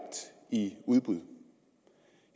i udbud